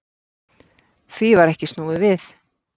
Því var snúið við